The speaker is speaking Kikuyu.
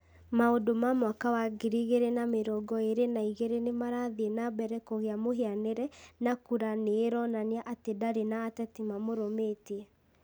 Maũndũ ma mwaka wa ngiri igĩrĩ na mĩrongo ĩrĩ na igĩrĩ nĩ marathiĩ na mbere kũgĩa mũhianĩre na kura nĩ ĩronania atĩ ndarĩ na atetĩ mamũrũmĩtie ;